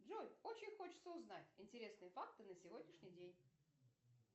джой очень хочется узнать интересные факты на сегодняшний день